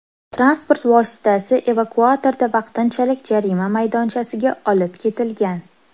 Transport vositasi evakuatorda vaqtinchalik jarima maydonchasiga olib ketilgan.